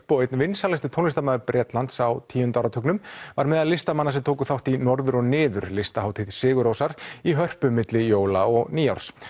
og einn vinsælasti tónlistarmaður Bretlands á tíu áratugnum var meðal listamanna sem tóku þátt í Norður og niður listahátíð sigur Rósar í Hörpu milli jóla og nýárs